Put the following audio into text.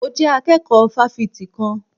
Mo jẹ́ akẹ́kọ̀ọ́ fáfitì kan.